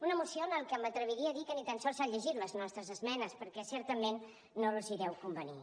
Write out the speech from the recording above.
una moció en la que m’atreviria a dir que ni tan sols s’han llegit les nostres esmenes perquè certament no els deu convenir